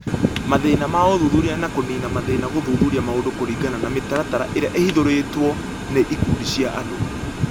Mathĩna ma ũthuthuria na kũniina mathĩna gũthuthuria maũndũ kũringana na mĩtaratara ĩrĩa ĩhũthĩrĩtwo nĩ ikundi cia andũ